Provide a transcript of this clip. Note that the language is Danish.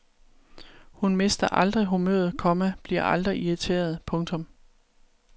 Hun mister aldrig humøret, komma bliver aldrig irriteret. punktum